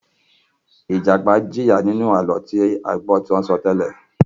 Ìjàpá jìyà nínú àlọ́ tí a gbọ́ tí wọ́n sọ tẹ́lẹ̀.